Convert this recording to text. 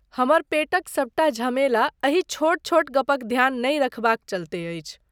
हमर पेटक सबटा झमेला एहि छोट छोट गपक ध्यान नहि रखबाक चलते अछि।